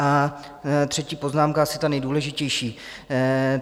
A třetí poznámka, asi ta nejdůležitější.